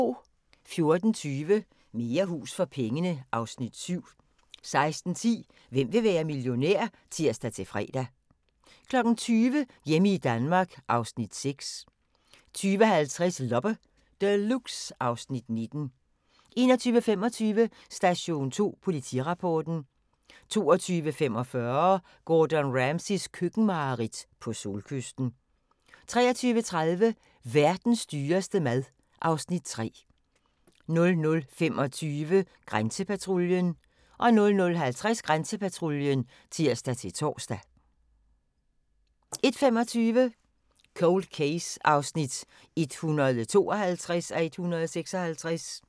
14:20: Mere hus for pengene (Afs. 7) 16:10: Hvem vil være millionær? (tir-fre) 20:00: Hjemme i Danmark (Afs. 6) 20:50: Loppe Deluxe (Afs. 19) 21:25: Station 2 Politirapporten 22:45: Gordon Ramsays køkkenmareridt - på solkysten 23:30: Verdens dyreste mad (Afs. 3) 00:25: Grænsepatruljen 00:50: Grænsepatruljen (tir-tor) 01:25: Cold Case (152:156)